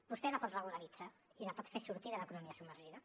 vostè la pot regularitzar i la pot fer sortir de l’economia submergida